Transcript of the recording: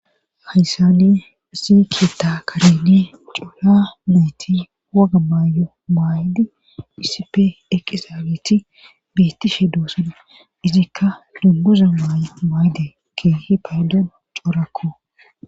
hayssani ziketa kareni cuuha nayti waga maayo maayde iisipe eqizaabeti biittishe doosana izikka lungoza y maayde keehi paydon corakko